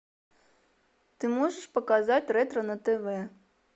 ты можешь показать ретро на тв